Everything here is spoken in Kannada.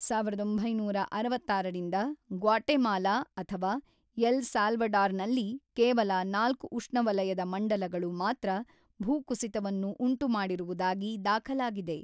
ಸಾವಿರದ ಒಂಬೈನೂರ ಅರವತ್ತಾರರಿಂದ ಗ್ವಾಟೆಮಾಲಾ ಅಥವಾ ಎಲ್ ಸಾಲ್ವಡಾರ್‌ನಲ್ಲಿ ಕೇವಲ ನಾಲ್ಕು ಉಷ್ಣವಲಯದ ಮಂಡಲಗಳು ಮಾತ್ರ ಭೂಕುಸಿತವನ್ನು ಉಂಟುಮಾಡಿರುವುದಾಗಿ ದಾಖಲಾಗಿದೆ.